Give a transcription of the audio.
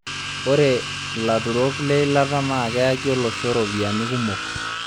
Ore laturok leilata naa keyaki olosho ropiyiani kumok